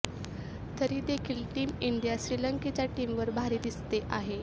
तरी देखील team India श्रीलंकेच्या टीमवर भारी दिसते आहे